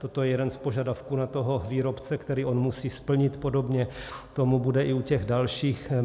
Toto je jeden z požadavků na toho výrobce, který on musí splnit, podobně tomu bude i u těch dalších.